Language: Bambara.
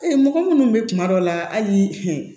mɔgɔ minnu bɛ kuma dɔw la hali